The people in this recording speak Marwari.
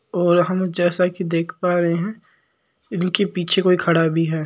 और हम जैसा की देख पा रहे है इनके पिछे कोई खड़ा भी है।